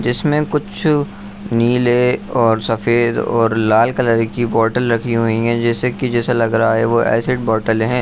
जिसमे कुछ नीले और सफेद और लाल कलर की बोतल रखी हुई है जैसे कि जैसे लग रहा है वह एसिड बोतले हैं।